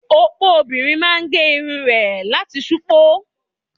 Opo obìnrin máa gé irun rẹ̀ láti ṣupọ́.